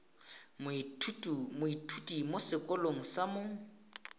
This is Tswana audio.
moithuti mo sekolong sa mo